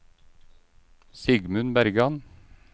Sigmund Bergan